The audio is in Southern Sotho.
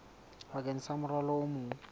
bakeng sa morwalo o mong